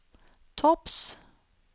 topps